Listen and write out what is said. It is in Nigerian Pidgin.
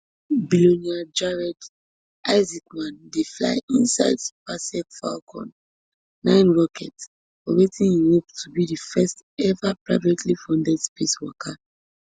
billionaire jared isaacman dey fly inside spacex falcon nine rocket for wetin im hope to be di first eva privately funded space waka